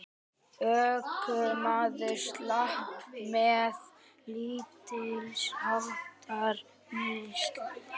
Ökumaður slapp með lítilsháttar meiðsl